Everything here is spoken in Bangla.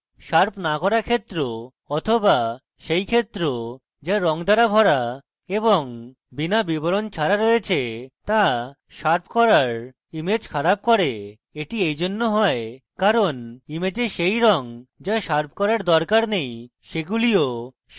তাই শার্প no করা ক্ষেত্র so সেই ক্ষেত্র so রঙ দ্বারা ভরা এবং বিনা বিবরণ ছাড়া রয়েছে so শার্প colours image খারাপ করে এবং এটি এইজন্য হয় কারণ image সেই রঙ so শার্প colours দরকার নেই সেগুলিও শার্প হয়ে যায়